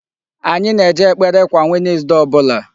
Anyị na-eje ekpere kwa Wednesday ọbụla.